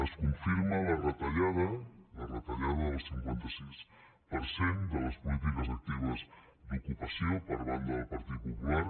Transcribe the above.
es confirma la retallada del cinquanta sis per cent de les polítiques actives d’ocupació per banda del partit popular